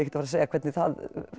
að segja hvernig það